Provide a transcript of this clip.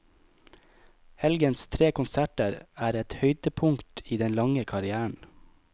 Helgens tre konserter er et høydepunkt i den lange karrièren.